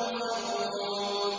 هُمُ الْخَاسِرُونَ